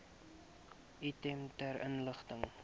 item ter inligting